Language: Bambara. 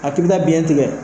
A tigi ka biɲɛ tigɛ